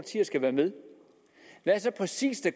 skal være med så præcis er